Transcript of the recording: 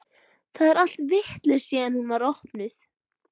Það er allt vitlaust síðan hún var opnuð.